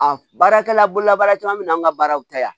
A baarakɛla bololabaara caman bɛ na an ka baaraw taa yan